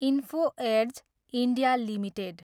info Edge, India, limited